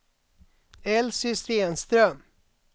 Elsy Stenström